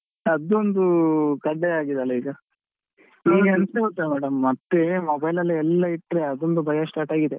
ಅದೊಂದು ಆಗಿದೆ ಅಲ್ಲ ಈಗ ಈಗ ಎಂತ ಗೊತ್ತಾ madam ಮತ್ತೆ mobile ಅಲ್ಲಿ ಎಲ್ಲ ಇಟ್ರೆ ಅದೊಂದು ಭಯ start ಆಗಿದೆ.